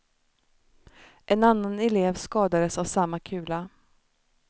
En annan elev skadades av samma kula.